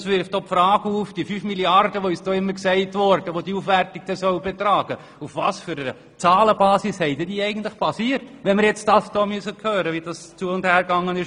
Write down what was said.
Es wirft ebenfalls die Frage auf, auf welcher Zahlenbasis die 5 Mrd. Franken, welche diese Aufwertung umfassen soll, beruhen, wenn wir nun hören müssen, wie das Ganze vonstattenging.